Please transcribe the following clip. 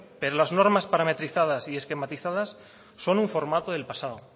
pero las normas parametrizadas y esquematizadas son un formato del pasado